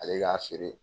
Ale k'a feere